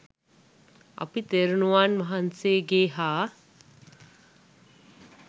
අප තෙරණුවන් වහන්සේගේ හා